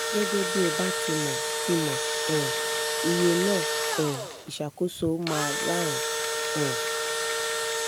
gẹ́gẹ́ bí o ba ti mo ti mo um iye na um isakoso ma rarun um